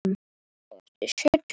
Það munum við gera áfram.